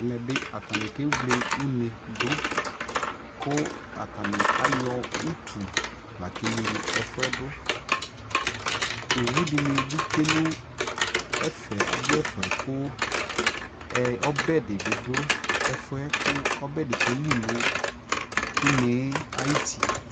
ɛmɛ bi atani kɛwlɛ unɛ dʋ kʋ atani ayɔ ʋtʋ lakɛ wlɛ ɛƒʋɛdʋ, ɔwʋ dini bi twɛnʋ ɛƒɛ, ɔdʋ ɛƒɛ kʋ ɔbɛ dibi dʋ ɛƒʋɛ kʋ ɔbɛ bi kɛli nʋ ʋnɛ ayiti